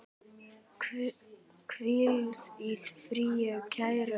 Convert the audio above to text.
Hvíl í friði, kæra systir.